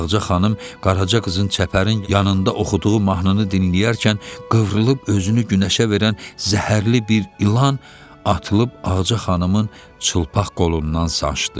Ağca xanım Qaraca qızın çəpərin yanında oxuduğu mahnını dinləyərkən qıvrılıb özünü günəşə verən zəhərli bir ilan atılıb Ağca xanımın çılpaq qolundan sancdı.